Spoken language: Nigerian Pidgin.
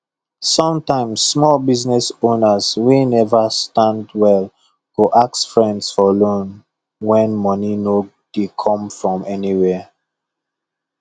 sometimes small business owners wey never stand well go ask friends for loan when money no dey come from anywhere